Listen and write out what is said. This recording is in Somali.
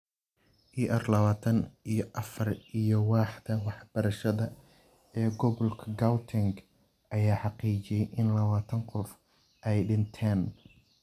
ER lawatan iyo afaar iyo waaxda waxbarashada ee gobolka Gauteng ayaa xaqiijiyay in lawatan qof ay dhinteen.